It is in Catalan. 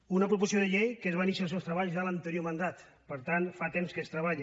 una proposició de llei que va iniciar els seus treballs en l’anterior mandat per tant fa temps que s’hi treballa